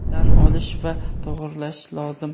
tan olish va to‘g‘rilash lozim!.